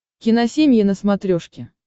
киносемья на смотрешке